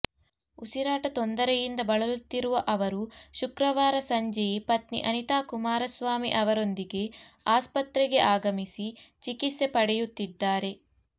ಉಸಿರಾಟ ತೊಂದರೆಯಿಂದ ಬಳಲುತ್ತಿರುವ ಅವರು ಶುಕ್ರವಾರ ಸಂಜೆಯೆ ಪತ್ನಿ ಅನಿತಾ ಕುಮಾರಸ್ವಾಮಿ ಅವರೊಂದಿಗೆ ಆಸ್ಪತ್ರೆಗೆ ಆಗಮಿಸಿ ಚಿಕಿತ್ಸೆ ಪಡೆಯುತ್ತಿದ್ದಾರೆ